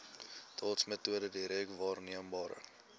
dotsmetode direk waarneembare